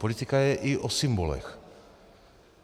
Politika je i o symbolech.